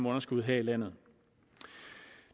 underskud her i landet